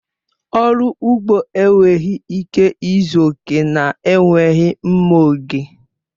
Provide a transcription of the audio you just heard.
Ọrụ ugbo enweghị ike ịzu oke na-enweghị mma oge.